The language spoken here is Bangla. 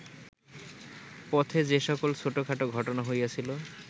পথে যে-সকল ছোটখাট ঘটনা হইয়াছিল